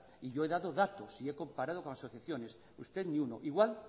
y yo he dado datos y he comparado con asociaciones usted ni uno igual